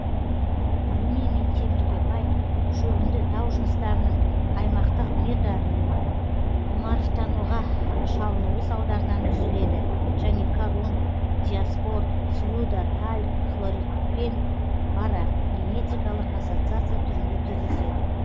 алюминий мен темірге бай шөгінді тау жыныстарының аймақтық метаморфтануға шалынуы салдарынан түзіледі және корунд диаспор слюда тальк хлоритпен парагенетикалық ассоциация түрінде кездеседі